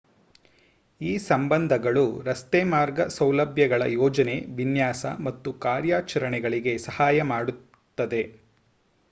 ಈ ಸಂಬಂಧಗಳು ರಸ್ತೆಮಾರ್ಗ ಸೌಲಭ್ಯಗಳ ಯೋಜನೆ ವಿನ್ಯಾಸ ಮತ್ತು ಕಾರ್ಯಾಚರಣೆಗಳಿಗೆ ಸಹಾಯ ಮಾಡುತ್ತದೆ